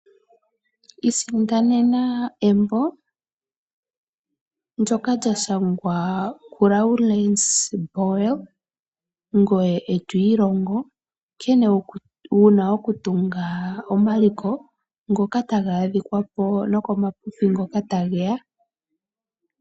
Isindanena embo ndjoka lya shangwa ku Lauren's boel ngoye eto ilongo nkene wuna okutunga omaliko ngoka taga adhikapo nokomapipi ngoka tageya .